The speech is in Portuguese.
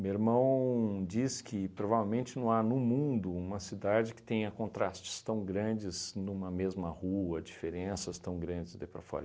Meu irmão diz que provavelmente não há no mundo uma cidade que tenha contrastes tão grandes numa mesma rua, diferenças tão grandes daí para fora.